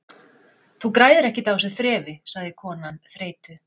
Þú græðir ekkert á þessu þrefi- sagði konan þreytu